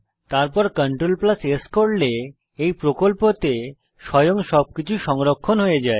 তারপর CTRL S করলে এই প্রকল্পতে স্বয়ং সব কিছু সংরক্ষণ হয়ে যায়